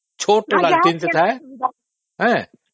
ଛୋଟ ଲଣ୍ଠନଟେ ଥାଏ